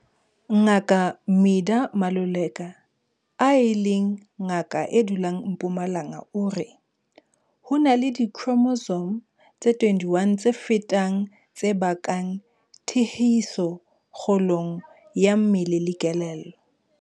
Ngaka Midah Maluleka, e leng ngaka e dulang Mpumalanga o re, "Ho na le dikhromosome tse 21 tse fetang tse bakang tiehiso kgolong ya mmele le kelello."